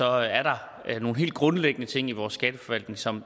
er der nogle helt grundlæggende ting i vores skatteforvaltning som